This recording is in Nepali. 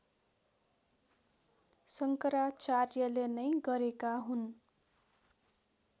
शङ्कराचार्यले नै गरेका हुन्